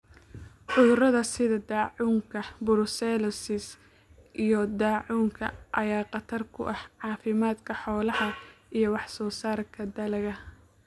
Cudurada sida daacuunka, brucellosis, iyo daacuunka ayaa khatar ku ah caafimaadka xoolaha iyo wax soo saarka dalagga.